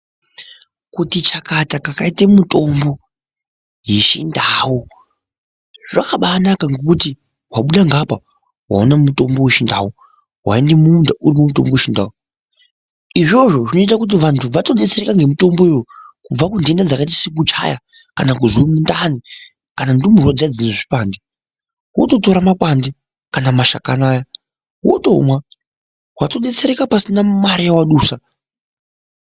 Kuti chakata kwakaite mitombo yechindau zvakabanaka ngokuti wabuda ngaapa waone mutombo wechindau ,waende mumunda urimwo mutombo wechindau izvozvo zvinoita kuti anhu atodetsereka ngemutombowo kubve kunhenda dzakaite sekuchaya kana kuzwe mundani kana ndumurwa dziya dzine zvipande wototora makwande kana mashakani aya wotomwa watodetsereka pasina mare yawadusa.